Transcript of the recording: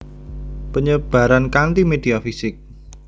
Penyebaran kanti media fisik